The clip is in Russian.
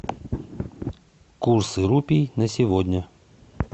курс рупий на сегодня